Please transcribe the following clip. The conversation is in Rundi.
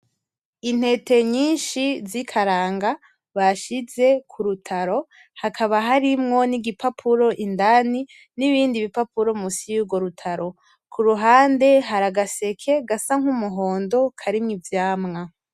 Intete nyinshi z'ikaranga bashize kurutaro , hakaba harimwo n'igipapuro indani , n'ibindi bipapuro musi yurwo rutaro , kuruhande hari agaseke gasa nk'umuhondo karimwo ivyamwa.